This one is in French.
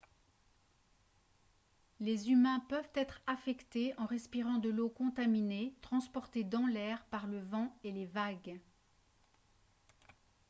les humains peuvent être affectés en respirant de l'eau contaminée transportée dans l'air par le vent et les vagues